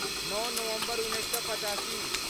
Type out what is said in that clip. नओ नवम्बर उन्नैस सए पचासी